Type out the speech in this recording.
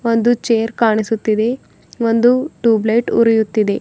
ಒಂದು ಚೇರ್ ಕಾಣಿಸುತ್ತಿದೆ ಒಂದು ಟೂಬ್ಲೈಟ್ ಉರಿಯುತ್ತಿದೆ.